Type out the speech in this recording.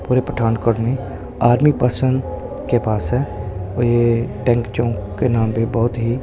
पूरे पठानकोट में army person के पास है और ये टेंक चौक के नाम पे बहुत ही--